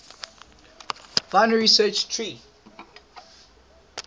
binary search tree